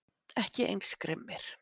Ekki eins grimmir